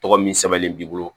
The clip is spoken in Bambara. Tɔgɔ min sɛbɛnnen b'i bolo